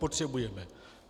Potřebujeme.